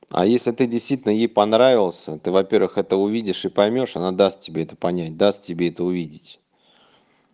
а если ты действительно ей понравился то во-первых это увидишь и поймёшь она даст тебе это понять даст тебе это увидеть